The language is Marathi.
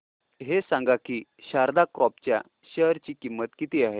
हे सांगा की शारदा क्रॉप च्या शेअर ची किंमत किती आहे